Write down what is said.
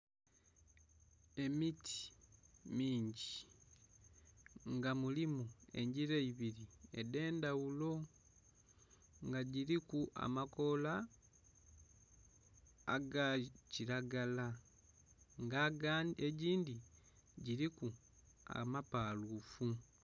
Emiti mingi nga mulimu engyira ibiri edhendhaghulo nga gyiriku amakola agakyiragala nga egyindhi gyiriku amapalufu